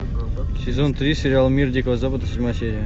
сезон три сериал мир дикого запада седьмая серия